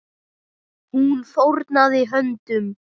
Hún fórnaði höndum.